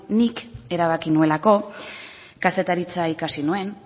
nik erabaki nuelako kazetaritza ikasi nuen